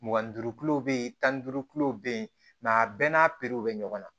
Mugan ni duuru kulo bɛ yen tan ni duuru kulo bɛ yen a bɛɛ n'a perew bɛ ɲɔgɔn na